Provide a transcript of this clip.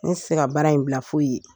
Ne se ka baara in bila foyi ye